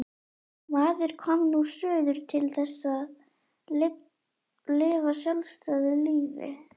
Maður kom nú suður til þess að lifa sjálfstæðu lífi.